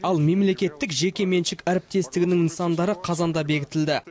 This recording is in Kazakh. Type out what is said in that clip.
ал мемлекеттік жеке меншік әріптестігінің нысандары қазанда бекітілді